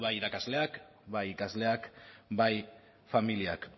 bai irakasleak bai ikasleak bai familiak